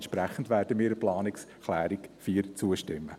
Entsprechend werden wir der Planungserklärung 4 zustimmen.